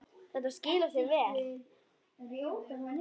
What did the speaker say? Þetta skilar sér vel.